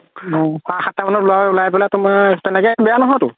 সাততা মানত উলাই পেলে তুমাৰ তেনেকে বেয়া নহয়তো